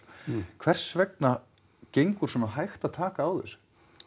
hvers vegna gengur svona hægt að taka á þessu